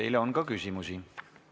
Teile on ka küsimusi.